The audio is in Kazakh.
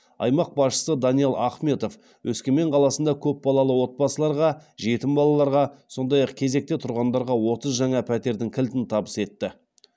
аймақ басшысы даниал ахметов өскемен қаласында көпбалалы отбасыларға жетім балаларға сондай ақ кезекте тұрғандарға отыз жаңа пәтердің кілтін табыс етті